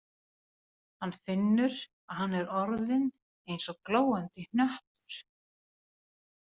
Hann finnur að hann er orðinn eins og glóandi hnöttur.